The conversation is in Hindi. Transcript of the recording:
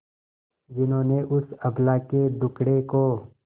जिन्होंने उस अबला के दुखड़े को